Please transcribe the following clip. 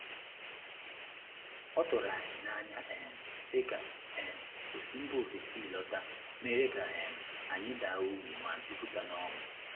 Oturu anyi na anya um si ka um osi mba ofesi lọta, mere ka um anyị daa ogbi ma jupụta n'ọṅụ.